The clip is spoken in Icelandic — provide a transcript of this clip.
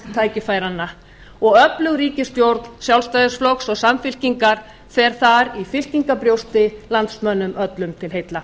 tækifæranna og öflug ríkisstjórn sjálfstæðisflokks og samfylkingar fer þar í fylkingarbrjósti landsmönnum öllum til heilla